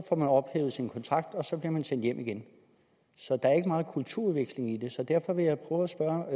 får man ophævet sin kontrakt og så bliver man sendt hjem igen så der er ikke meget kulturudveksling i det derfor vil jeg prøve at spørge